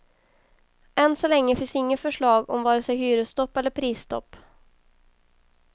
Än så länge finns inget förslag om vare sig hyresstopp eller prisstopp.